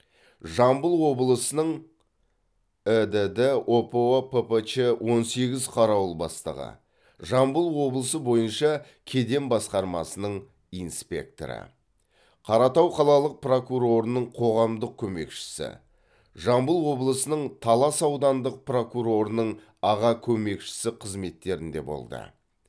жамбыл облысының ідд опо ппч он сегіз қарауыл бастығы жамбыл облысы бойынша кеден басқармасының инспекторы қаратау қалалық прокурорының қоғамдық көмекшісі жамбыл облысының талас аудандық прокурорының аға көмекшісі қызметтерінде болды